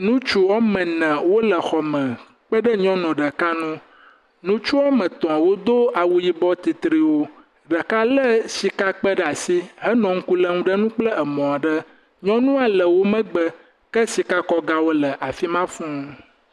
ŋutsu ame ene wo le xɔme kpe ɖe nyɔnu ɖeka ŋu, ŋutsu ame etɔ wo do awu yibɔ titriwo ɖeka le shika kpe ɖe asi he nɔ ŋuku lem ɖe ŋu kple emɔ aɖe. Nyɔnua le wo megbe ke shika kɔ ga le afima fū